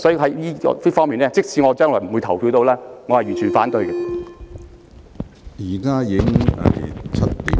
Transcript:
所以，就此方面，即使我不會參與表決，也是完全反對的。